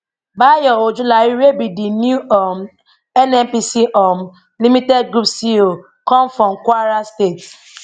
bayo ojulari wey be di new um nnpc um limited group ceo come from kwara state